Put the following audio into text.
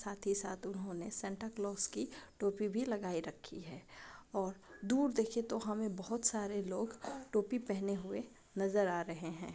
साथ ही साथ उन्होंने सेंटा क्लॉज़ की टोपी भी लगाई रखी है। और दूर देखें तो हमें बहुत सारे लोग टोपी पहने हुए नजर आ रहे हैं।